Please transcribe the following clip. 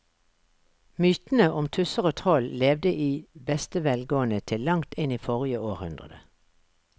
Mytene om tusser og troll levde i beste velgående til langt inn i forrige århundre.